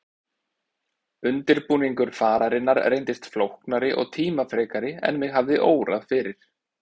Undirbúningur fararinnar reyndist flóknari og tímafrekari en mig hafði órað fyrir.